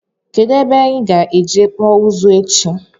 Kedụ ebe anyị ga-eje kpụọ ụzụ echi?